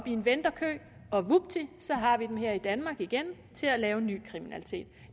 i en ventekø og vupti så har vi dem her i danmark igen til at begå ny kriminalitet